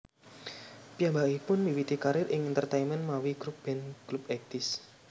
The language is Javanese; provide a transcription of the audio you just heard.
Piyambakipun miwiti karier ing entertaimen mawi grup band Clubeighties